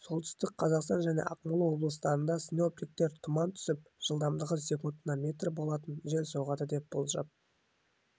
солтүстік қазақстан және ақмола облыстарында синоптиктер тұман түсіп жылдамдығы секундына метр болатын жел соғады деп болжап